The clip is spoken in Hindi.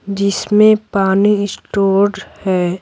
जिसमें पानी स्टोर्ड है।